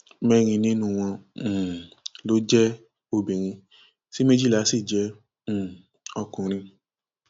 mẹrin nínú wọn um ló jẹ obìnrin tí méjìlá sì jẹ um ọkùnrin